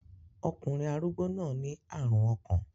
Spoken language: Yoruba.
Ọkùnrin arúgbó náà ní àrùn ọkàn.